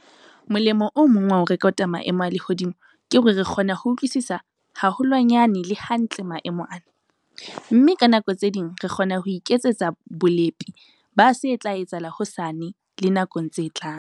Molemo o mong wa ho rekota maemo a lehodimo ke hore re kgona ho utlwisisa haholwanyane le hantle maemo ana, mme ka nako tse ding re kgona ho iketsetsa bolepi ba se tla etsahala hosane le nakong tse tlang.